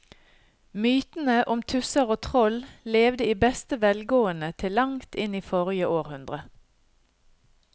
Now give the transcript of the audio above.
Mytene om tusser og troll levde i beste velgående til langt inn i forrige århundre.